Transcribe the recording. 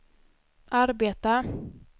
arbeta